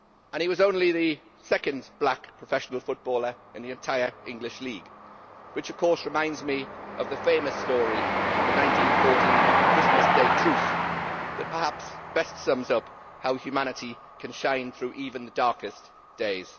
He was only the second black professional footballer in the entire English League which of course reminds me of the famous story of the 1914 Christmas Day truce that perhaps best sums up how humanity can shine through even the darkest days.